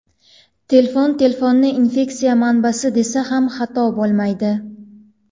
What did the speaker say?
Telefon Telefonni infeksiya manbasi desa ham xato bo‘lmaydi.